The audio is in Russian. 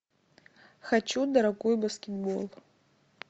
хочу дорогой баскетбол